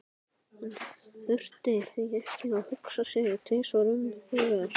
Hann þurfti því ekki að hugsa sig tvisvar um þegar